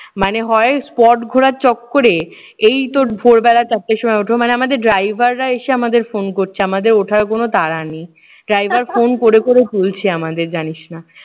মানে হয় spot ঘোরার চক্করে এই তোর ভোরবেলা চারটের সময় উঠো। মানে আমাদের driver রা এসে আমাদের phone করছে। আমাদের ওঠার কোনো তাড়া নেই। driver phone করে করে তুলছে আমাদের জানিস না।